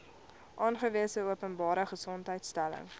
aangewese openbare gesondheidsinstelling